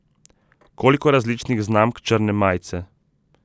Koliko različnih znamk črne majice?